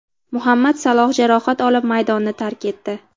Muhammad Saloh jarohat olib maydonni tark etdi.